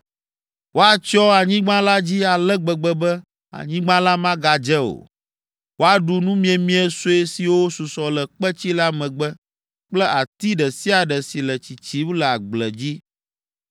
Woatsyɔ anyigba la dzi ale gbegbe be anyigba la magadze o. Woaɖu numiemie sue siwo susɔ le kpetsi la megbe kple ati ɖe sia ɖe si le tsitsim le agble dzi.